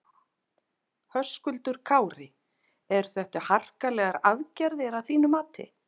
Höskuldur Kári: Eru þetta harkalegar aðgerðir að þínu mati?